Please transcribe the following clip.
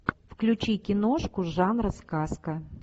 включи киношку жанра сказка